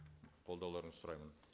қолдауларыңызды сұраймын